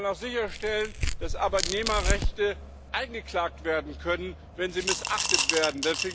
Wir wollen auch sicherstellen, dass Arbeitnehmerrechte eingeklagt werden können, wenn sie missachtet werden.